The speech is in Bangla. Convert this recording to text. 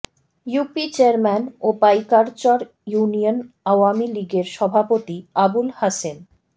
ইউপি চেয়ারম্যান ও পাইকারচর ইউনিয়ন আওয়ামী লীগের সভাপতি আবুল হাসেম